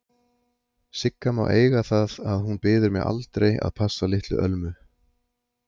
Sigga má eiga það að hún biður mig aldrei að passa litlu Ölmu.